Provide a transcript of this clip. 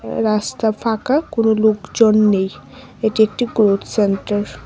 রাস্তা ফাঁকা কোনও লোকজন নেই এটি একটি গ্রোথ সেন্টার ।